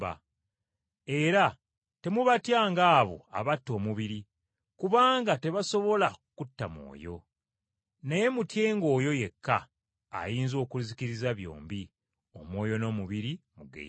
Era temubatyanga abo abatta omubiri kubanga tebasobola kutta mwoyo! Naye mutyenga oyo yekka, ayinza okuzikiriza byombi omwoyo n’omubiri mu ggeyeena.